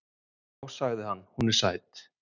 """Já, sagði hann, hún er sæt."""